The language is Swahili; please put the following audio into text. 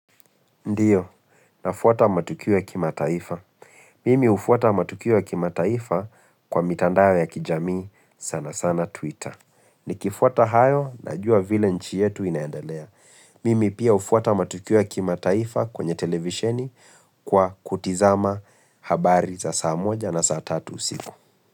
Ndio, nafuata matukio ya kimataifa. Mimi hufuata matukio ya kimataifa kwa mitandao ya kijamii sana sana Twitter. Nikifuata hayo najua vile nchi yetu inaendelea. Mimi pia hufuata matukio ya kimataifa kwenye televisheni kwa kutizama habari za saa moja na saa tatu usiku.